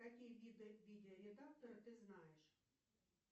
какие виды видеоредактора ты знаешь